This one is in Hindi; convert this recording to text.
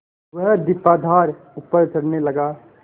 वह दीपाधार ऊपर चढ़ने लगा